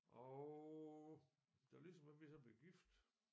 Og da Lis og mig vi så blev gift